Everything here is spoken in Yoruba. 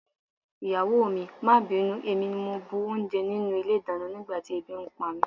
Ìyàwó mi, má bínú, èmi ni mo bu oúnjẹ nínú ilé-ìdáná nígbà tí ebi ń pa mí.